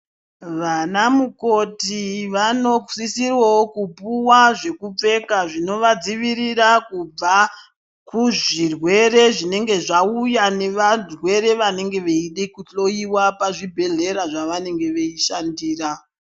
Vana mukoti vanosisa wawo kupuwa zvekupfeka zvino vadzivirira Kubva kuzvirwere zvinenge zvauya kubva kuvarwere vanenge vachida kuhloiwa pazvibhedhlera zvavanenge veishandira.